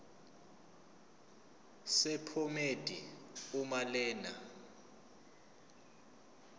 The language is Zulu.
sephomedi uma lena